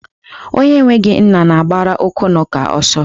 Onye enweghị nna na-agbara okwunaka ọsọ.